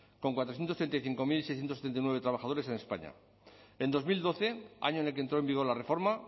con cuatrocientos treinta y cinco mil seiscientos setenta y nueve trabajadores en españa en dos mil doce año en el que entró en vigor la reforma